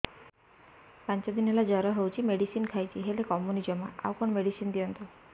ପାଞ୍ଚ ଦିନ ହେଲା ଜର ହଉଛି ମେଡିସିନ ଖାଇଛି ହେଲେ କମୁନି ଜମା ଆଉ କଣ ମେଡ଼ିସିନ ଦିଅନ୍ତୁ